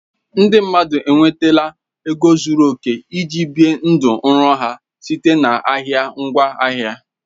Ndị mmadụ na-enweta ego zuru oke iji bie ndụ nrọ ha site na ahịa ngwaahịa